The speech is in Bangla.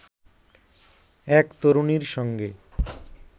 এক তরুণীর সঙ্গে